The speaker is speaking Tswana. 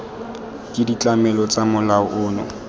ke ditlamelo tsa molao ono